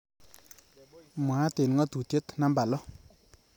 Mwaat eng ngatutitiet namba lo